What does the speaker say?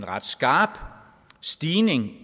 ret skarp stigning